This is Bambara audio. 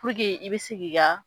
i bɛ se ki ka.